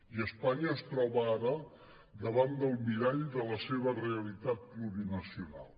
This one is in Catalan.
i espanya es troba ara davant del mirall de la seva realitat plurinacional